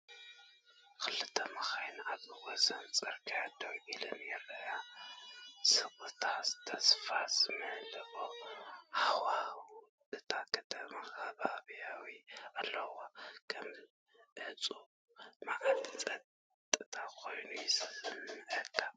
ክልተ መካይን ኣብ ወሰን ጽርግያ ደው ኢለን ይረኣያ፤ ስቕታን ተስፋ ዝመልኦ ሃዋህውን እታ ከተማ ከቢቡዎም ኣሎ። ከም ዕጹው መዓልቲ ጸጥታ ኮይኑ ይስምዓካ።